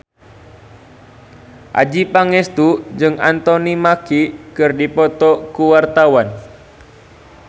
Adjie Pangestu jeung Anthony Mackie keur dipoto ku wartawan